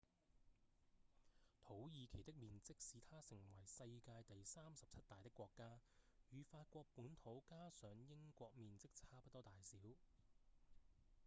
土耳其的面積使它成為世界第37大的國家與法國本土加上英國面積差不多大小